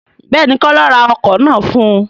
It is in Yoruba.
Béèni, kola ra ọkọ̀ náà fún un